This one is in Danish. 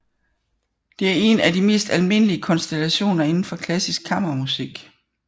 Det er en af de mest almindelige konstallationer inden for klassisk kammermusik